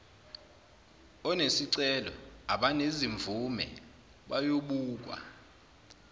onesicelo abanezimvume bayobukwa